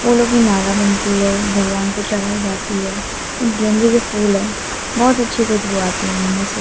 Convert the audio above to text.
फूलों की माला बनती है भगवान को चढ़ाई जाती है इन गेंदें के फूल है बहोत अच्छी खुशबू आती है इनमें से।